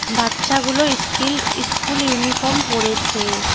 বাচ্চাগুলো school school uniform পড়েছে।